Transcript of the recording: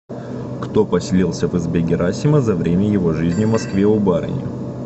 кто поселился в избе герасима за время его жизни в москве у барыни